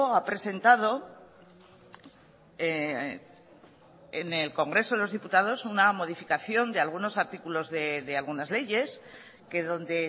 ha presentado en el congreso de los diputados una modificación de algunos artículos de algunas leyes que donde